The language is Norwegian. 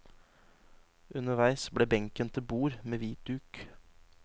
Underveis ble benken til bord, med hvit duk.